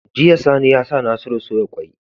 Jiya sani yasa nasiru soya kwai